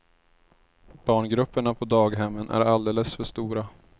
Barngrupperna på daghemmen är alldeles för stora.